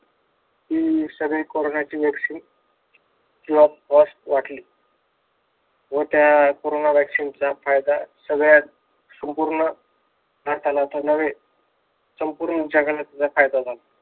ती सगळी कोरोनाची vaccine, free of cost वाटली. व त्या कोरोना vaccine चा फायदा सगळ्या संपूर्ण भारताला नव्हे, संपूर्ण जगाला त्याचा फायदा झाला.